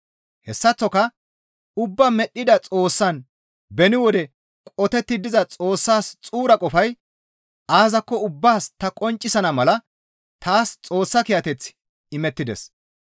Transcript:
Hessaththoka ubbaa medhdhida Xoossaan beni wode qotetti diza Xoossaas xuura qofay aazakko ubbaas ta qonccisana mala taas Xoossa kiyateththi imettides.